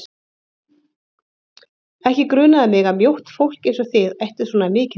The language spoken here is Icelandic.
Ekki grunaði mig að mjótt fólk eins og þið ættuð svona mikinn mat